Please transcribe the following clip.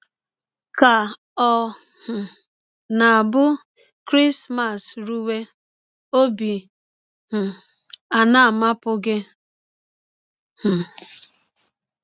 Ka ọ̀ um na - abụ Krismas rụwe, ọbi um ana - amapụ gị? um